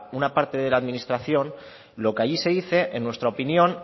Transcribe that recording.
una parte de la administración lo que allí se dice en nuestra opinión